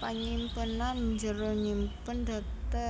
Panyimpenan njero nyimpen data